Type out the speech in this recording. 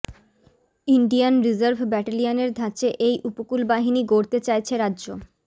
Indian reserve ব্যাটেলিয়নের ধাঁচে এই উপকূল বাহিনী গড়তে চাইছে রাজ্য